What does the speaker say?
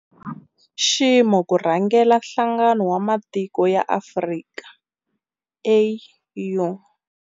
I nxiximo ku rhangela Nhlangano wa Matiko ya Afrika, AU.